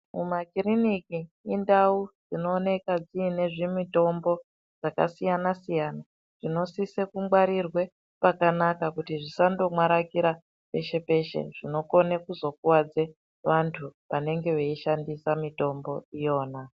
Mumakiriniki indau inooneka iine zvimitombo zvimutombo zvakasiyana-siyana inosise kungwarirwe pakanaka kuti zvisandomwaraukira peshe-peshe, zvinokone kuzokuvadze vantu vanenge veishandise mitombo iyona.